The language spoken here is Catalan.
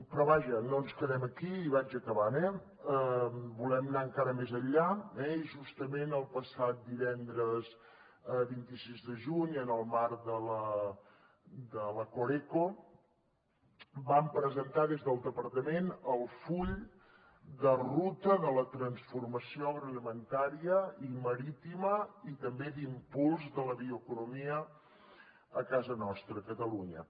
però vaja no ens quedem aquí i vaig acabant eh volem anar encara més enllà eh i justament el passat divendres vint sis de juny en el marc de la coreco vam presentar des del departament el full de ruta de la transformació agroalimentària i marítima i també d’impuls de la bioeconomia a casa nostra a catalunya